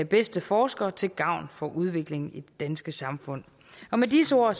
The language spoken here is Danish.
bedste forskere til gavn for udviklingen i det danske samfund med disse ord